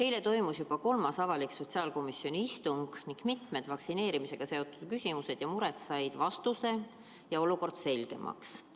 Eile toimus juba kolmas avalik sotsiaalkomisjoni istung ning mitmed vaktsineerimisega seotud küsimused ja mured said vastuse ja olukord selgemaks.